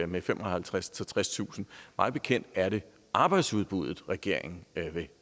med femoghalvtredstusind tredstusind mig bekendt er det arbejdsudbuddet regeringen vil